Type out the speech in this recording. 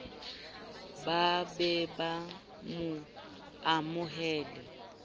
ba be ba mo amohele